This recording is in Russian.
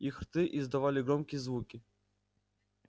их рты издавали громкие звуки